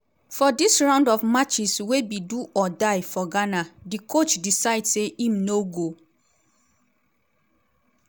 for dis round of matches wey be do-or-die for ghana di coach decide say im no go